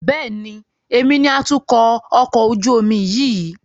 Bẹ́ẹ̀ni, èmi ni atukọ̀ ọkọ̀ ojú omi yìí.